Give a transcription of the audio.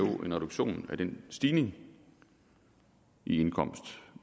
jo en reduktion af den stigning i indkomst